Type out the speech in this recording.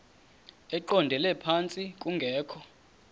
eqondele phantsi kungekho